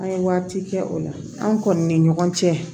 An ye waati kɛ o la an kɔni ni ɲɔgɔn cɛ